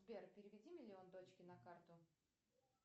сбер переведи миллион дочке на карту